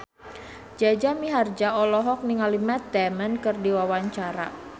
Jaja Mihardja olohok ningali Matt Damon keur diwawancara